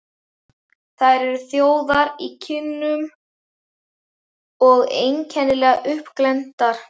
Þær eru rjóðar í kinnum og einkennilega uppglenntar.